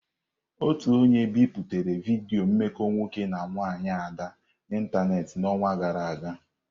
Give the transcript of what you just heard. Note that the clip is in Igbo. Otu onye biputere vidiyo mmekọ nwoke na nwanyị Ada n'ịntanetị n'ọnwa gara aga.